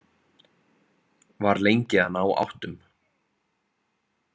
Var lengi að ná áttum.